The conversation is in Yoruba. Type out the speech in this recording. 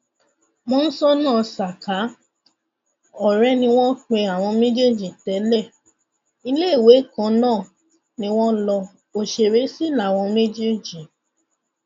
mọńsónà saka ọrẹ ni wọn pe àwọn méjèèjì tẹlẹ iléèwé kan náà ni wọn lo òṣèré sí láwọn méjèèjì